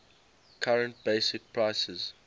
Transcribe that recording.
current basic prices